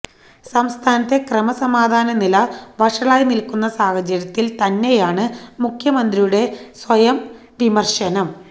സംസ്ഥാനത്തെ ക്രമസമാധാനനില വഷളായി നില്ക്കുന്ന സാഹചര്യത്തില് തന്നെയാണ് മുഖ്യമന്ത്രിയുടെ സ്വയം വിമര്ശനം